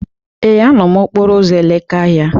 Ee, a nọ m n'okporo ụzọ Elekahia.